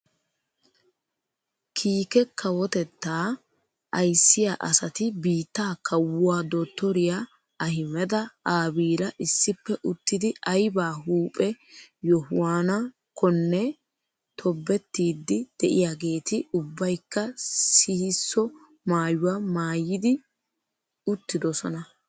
Kiike kawotettaa ayssiyaa asati biittaa kawuwaa dottoriyaa ahimeda aabiira issippe uttidi ayba huuphphe yohuwaanakkonne tobettiidi de'iyaageti ubbaykka sihisso maayuwaa maayi uttidosona.